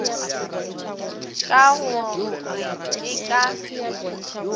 ka go re ke ka